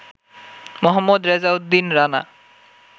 Mohammad Rezauddin Rana